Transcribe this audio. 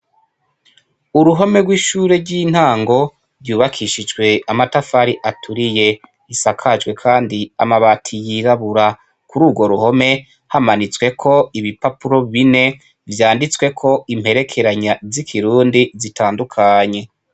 Uruhome rwishure ryintango ryubakishijwe amatafari aturiye risakajwe kandi amabati yirabura kurugo ruhome hamanitseko ibipapuro bine vyanditsweko imperekeranya zitandukanye